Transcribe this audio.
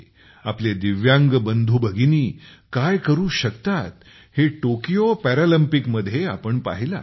आपले दिव्यांग बंधु भगिनी काय करू शकतात हे टोकियो पॅरालिम्पिकमध्ये आपण पाहिले आहे